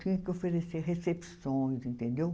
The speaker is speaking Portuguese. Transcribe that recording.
Tinha que oferecer recepções, entendeu?